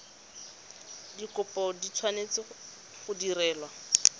dikopo di tshwanetse go direlwa